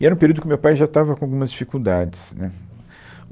E era um período que o meu pai já estava com algumas dificuldades, né.